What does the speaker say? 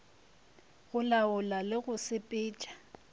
go laola le go sepetša